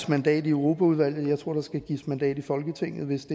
mandat i europaudvalget jeg tror at der skal gives mandat i folketinget hvis